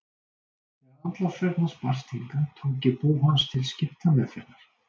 Þegar andlátsfregn hans barst hingað tók ég bú hans til skiptameðferðar.